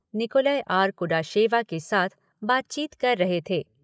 Nicolas R Kudasheva के साथ बातचीत कर रहे थे।